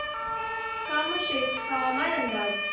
कामशेत हवामान अंदाज